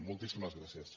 moltíssimes gràcies